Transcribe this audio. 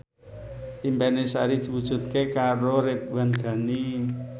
impine Sari diwujudke karo Ridwan Ghani